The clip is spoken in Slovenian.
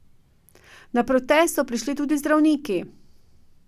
Na protest so prišli tudi zdravniki.